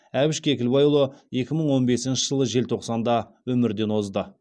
әбіш кекілбайұлы екі мың он бесінші жылы желтоқсанда өмірден озды